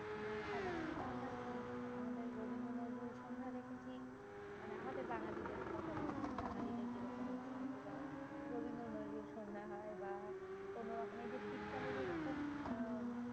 আ সাধারণত আমরা আমাদের রবীন্দ্র নজরুল সন্ধ্যা দেখেছি। মানে আমাদের বাঙালিদের কথা বলছি। বাঙালিদের যেরকম অনুষ্ঠান গুলো হয়। রবীন্দ্র নজরুল সন্ধ্যা হয় বা কোনোরকমের যে শীতকালে যেরকম আম